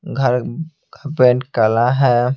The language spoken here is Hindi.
घर का पेंट काला है।